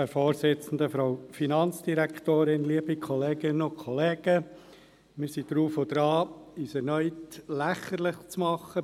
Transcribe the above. Wir sind drauf und dran, uns erneut beim Bundesparlament lächerlich zu machen.